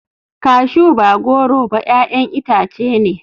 Cashew ba goro ba 'ya'yan itace ne.